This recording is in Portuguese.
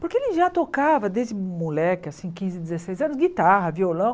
Porque ele já tocava desde moleque, assim, quinze, dezesseis anos, guitarra, violão.